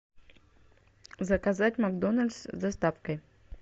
заказать макдональдс с доставкой